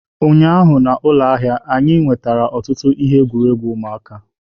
Ụnyaahụ na ụlọ ahịa ụlọ ahịa anyị nwetara ọtụtụ ihe egwuregwu ụmụaka.